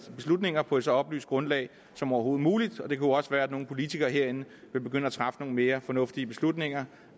beslutninger på et så oplyst grundlag som overhovedet muligt det kunne jo også være at nogle politikere herinde ville begynde at træffe nogle mere fornuftige beslutninger